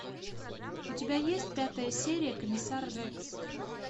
у тебя есть пятая серия комиссар рекс